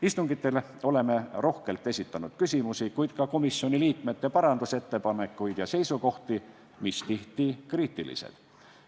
Istungitel oleme rohkelt esitanud küsimusi, kuid ka komisjoni liikmete parandusettepanekuid ja seisukohti, mis tihti on kriitilised.